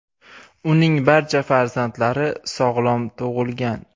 Uning barcha farzandlari sog‘lom tug‘ilgan.